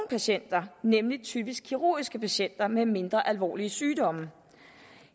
patienter nemlig typisk kirurgiske patienter med mindre alvorlige sygdomme